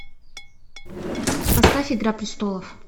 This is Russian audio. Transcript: поставь игра престолов